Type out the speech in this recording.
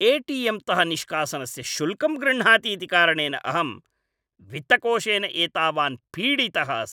ATM तः निष्कासनस्य शुल्कं गृह्णाति इति कारणेन अहं वित्तकोषेन एतावान् पीडितः अस्मि ।